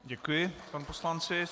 Děkuji, panu poslanci.